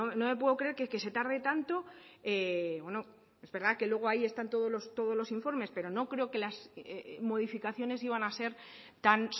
no me puedo creer que se tarde tanto bueno es verdad que luego están ahí todos los informes pero no creo que las modificaciones iban a ser tan